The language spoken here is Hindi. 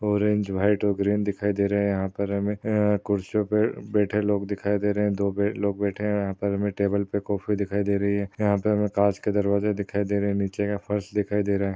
ऑरेंज व्हाइट और ग्रीन दिखाई दे रहे यहा पर हमे अह खुर्ची पर बैठे लोग दिखाई दे रहे है दो लोग बैठे है यहाँ पर टेबल पे कॉफी दिखाई दे रही है यहाँ पे हमे काँच के दरवाजे दिखाई दे रही नीचे फर्श दिखाई दे रहा।